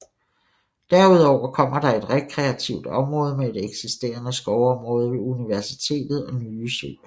Derudover kommer der et rekreativt område med et eksisterende skovområde ved universitetet og nye søer